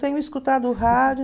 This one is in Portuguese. Tenho escutado rádio.